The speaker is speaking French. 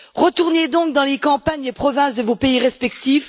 Retournez donc dans les campagnes et provinces de vos pays respectifs!